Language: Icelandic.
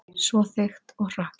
Svo þykkt og hrokkið.